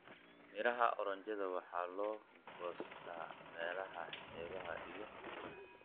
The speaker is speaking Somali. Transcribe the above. Midhaha oranjada waxaa la goostaa meelaha xeebaha iyo buuraha.